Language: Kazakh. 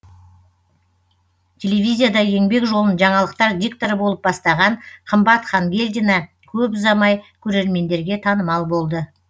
телевизияда еңбек жолын жаңалықтар дикторы болып бастаған қымбат хангелдина көп ұзамай көремендерге танымал болды